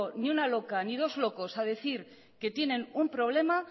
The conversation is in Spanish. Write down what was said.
ni una loca ni dos locos a decir que tienen un problema